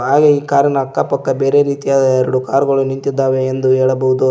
ಹಾಗೆ ಈ ಕಾರಿನ ಅಕ್ಕ ಪಕ್ಕ ಬೇರೆ ರೀತಿಯಾದ ಎರಡು ಕಾರ್ ಗಳು ನಿಂತಿದ್ದಾವೆ ಎಂದು ಹೇಳಬಹುದು.